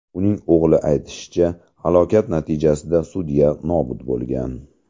Uning o‘g‘li aytishicha, halokat natijasida sudya nobud bo‘lgan.